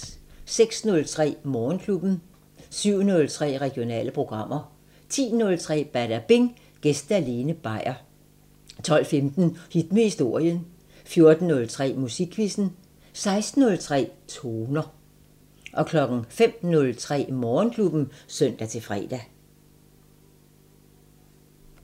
06:03: Morgenklubben 07:03: Regionale programmer 10:03: Badabing: Gæste Lene Beier 12:15: Hit med historien 14:03: Musikquizzen 16:03: Toner 05:03: Morgenklubben (søn-fre)